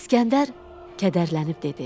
İsgəndər kədərlənib dedi: